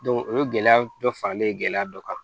o ye gɛlɛya dɔ faralen gɛlɛya dɔ kan